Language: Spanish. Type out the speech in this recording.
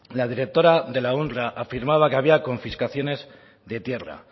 la directora de la unrwa afirmaba que había confiscaciones de tierra